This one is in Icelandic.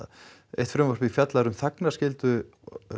eitt frumvarpið fjallar um þagnarskyldu